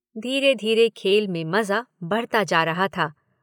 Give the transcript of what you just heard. धीरे-धीरे खेल में मजा बढ़ता जा रहा था।